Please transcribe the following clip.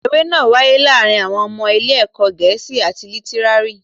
Eré náà wáyé láàárín àwọn ọmọ ilé ẹ̀kọ́ Gẹ̀ẹ́sì àti Lítírárì